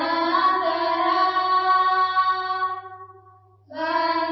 Vande Mataram